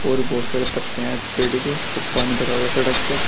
और बहोत सारे पत्ते हैं पेड़ के पानी भरा हुआ सड़क पर।